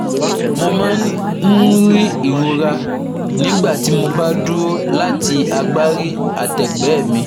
Mo máa ń rí ìrora nígbà tí mo bá dúró láti agbárí àtẹgbẹ́ mi